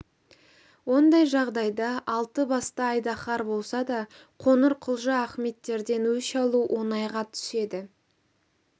ондай жағдайда алты басты айдаһар болса да қоңырқұлжа ахметтерден өш алу оңайға түседі